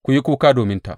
Ku yi kuka dominta!